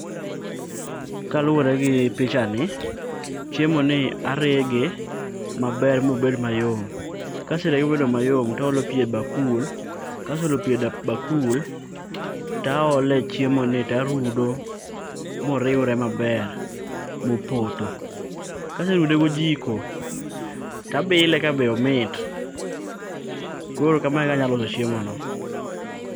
kaluwore gi pichani chiemo ni arege maber mobed mayom to aolo pi e bakul kase olo pi e bakul to ole chiemo ni tarudo moriwre maber mopoto kaserude go jiko tabile kabe omit koro kamae e kaka anyalo loso chiemo no.